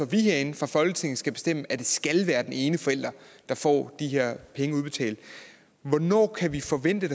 vi herinde fra folketingets side skal bestemme at det skal være den ene forælder der får de her penge udbetalt hvornår kan vi forvente